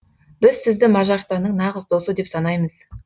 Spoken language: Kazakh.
біз сізді мажарстанның нағыз досы деп санаймыз